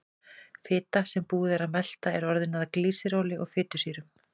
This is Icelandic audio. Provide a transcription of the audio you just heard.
Fita sem búið er að melta er orðin að glýseróli og fitusýrum.